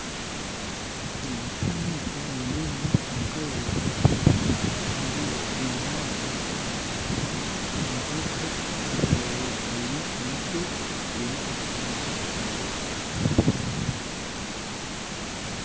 Omu kishishani eki nindeebamu omukazi ariyo nahaata rukaka nagihaatira aha kabaaho, aine omusyo gwine ekirindi kirikutukura